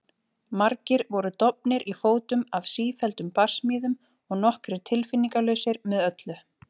Margir voru dofnir í fótum af sífelldum barsmíðum og nokkrir tilfinningalausir með öllu.